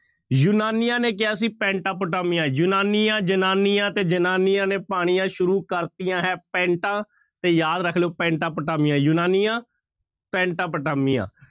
ਯੂਨਾਨੀਆਂ ਨੇ ਕਿਹਾ ਸੀ ਪੈਂਟਾ ਪੁਟਾਮੀਆ, ਯੂਨਾਨੀਆਂ ਜ਼ਨਾਨੀਆਂ ਤੇ ਜ਼ਨਾਨੀਆਂ ਨੇ ਪਾਣੀਆਂ ਸ਼ੁਰੂ ਕਰ ਦਿੱਤੀਆਂ ਹੈ ਪੈਂਟਾ, ਤੇ ਯਾਦ ਰੱਖ ਲਇਓ ਪੈਂਟਾ ਪੁਟਾਮੀਆ, ਯੂਨਾਨੀਆਂ ਪੈਂਟਾ ਪੁਟਾਮੀਆ